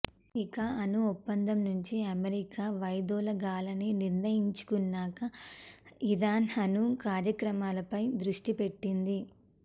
ఇక అణు ఒప్పందం నుంచి అమెరికా వైదొలగాలని నిర్ణయించుకున్నాక ఇరాన్ అణు కార్యక్రమాలపై దృష్టి పెట్టింది